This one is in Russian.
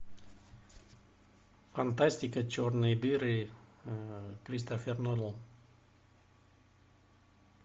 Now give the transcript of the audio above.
фантастика черные дыры кристофер нолан